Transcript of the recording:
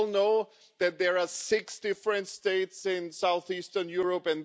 We all know that there are six different states in south eastern Europe.